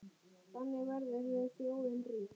Þannig verður þjóðin rík.